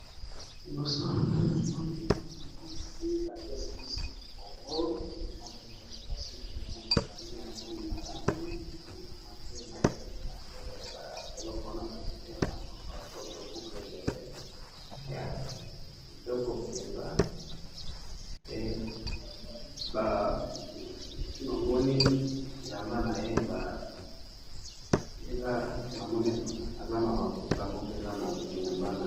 Liboso na nga namoni mwasi apesi biso mokongo namoni ba suki naye bakangi yango malamu alati na matoyi naye oyo babengaka na monoko ya lopoto boucle d'oreille